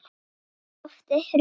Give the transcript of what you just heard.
Loftið hrundi.